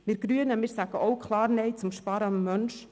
Wir Grünen sagen auch klar Nein zum Sparen am Menschen.